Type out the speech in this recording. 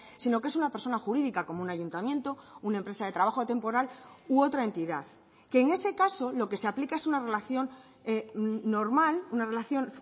sino que es una persona jurídica como un ayuntamiento una empresa de trabajo temporal u otra entidad que en ese caso lo que se aplica es una relación normal una relación